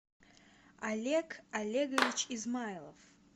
олег олегович измайлов